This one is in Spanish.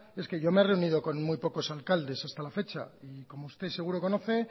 es que yo me he reunido con muy pocos alcaldes hasta la fecha y como usted seguro conoce